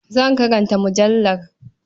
Zan karanta mujallar.